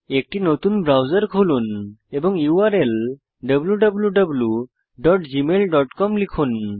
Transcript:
একটি নতুন ব্রাউজার খুলুন এবং ইউআরএল wwwgmailcom লিখুন